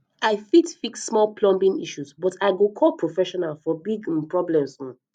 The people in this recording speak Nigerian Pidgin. i fit fix small plumbing issues but i go call professional for big um problems um